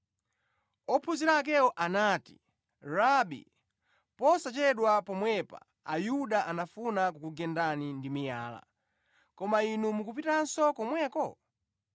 Ophunzira akewo anati, “Rabi, posachedwa pomwepa Ayuda anafuna kukugendani ndi miyala, koma Inu mukupitanso komweko?”